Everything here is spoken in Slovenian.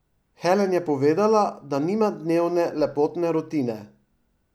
Helen je povedala, da nima dnevne lepotne rutine.